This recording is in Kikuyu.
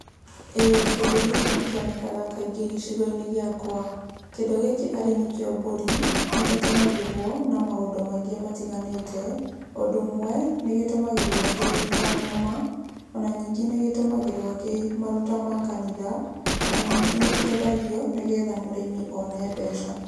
ĩĩ kĩndũ gĩkĩ nĩkĩonekaga kaingĩ gĩcigo-inĩ gĩakwa. Kĩndũ gĩkĩ arĩ nĩkio mbũri nĩgĩtũmagĩrwo na maũndũ maingĩ matiganĩte. Ũndũ ũmwe nĩ gĩtũmagĩrwo gĩta nyama, ona ningĩ nĩgĩtũmagĩrwo gĩ maruta ma kanitha, ona ningĩ nĩkĩendagio nĩgetha mũrĩmi one mbeca.